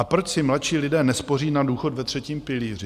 A proč si mladší lidé nespoří na důchod ve třetím pilíři?